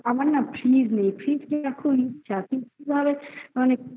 ও না আমার না fridge নেই. fridge নেই এখন যাতে কিভাবে মানে কি?